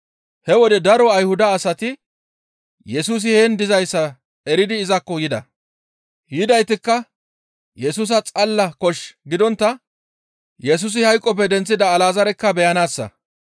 He wode daro Ayhuda asati Yesusi heen dizayssa eridi izakko yida; yidaytikka Yesusa xalala kosh gidontta Yesusi hayqoppe denththida Alazaarekka beyanaassa.